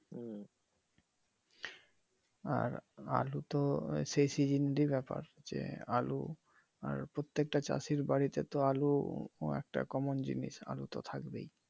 আর আলুতো সেই সিজনলি ব্যাপার যে আলু আর প্রত্যেকটা চাষির বাড়িতে তো আলু একটা কমন জিনিস আলু তো থাকবেই